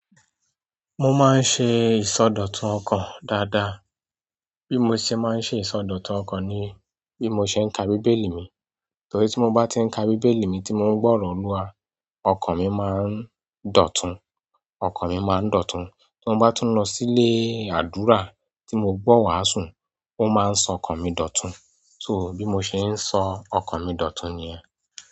Mo máa ń ṣe ìsọdọ̀tun ọkàn dáadáa. Bí mo ṣe máa ń ṣe ìsọdọ̀tun ọkàn ni bí mo ṣe ń ka Bíbélì mi. Torí tí mo bá ti ń ka Bíbélì mi tí mò ń gbọ́ràn Olúwa, ọkàn mi máa ń dọ̀tun, ọkàn mi máa ń dọ̀tun. Tí mo bá tún lọ sílé ádùrá tí mo gbọ́ wàásù, ó máa ń sọ ọkàn mi dọ̀tun. So bí mo ṣe ń sọ ọkàn mi dọ̀tun nìyẹn.